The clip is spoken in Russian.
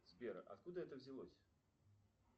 сбер откуда это взялось